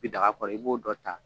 Bi daga kɔrɔ i b'o dɔ ta